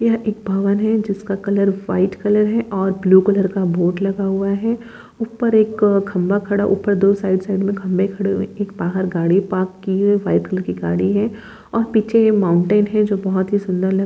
यहँ एक भवन है जिसका कलर व्हाइट कलर है और ब्लू कलर का बोर्ड लगा हुआ है। ऊपर एक अ खंभा खड़ा ऊपर दो साइड साइड म खंबे खड़े हुए हैं। एक बाहर गाड़ी पार्क की है वाइट कलर की गाड़ी है। और पीछे यह माउंटेन हैं जो बहुत ही सुंदर लग--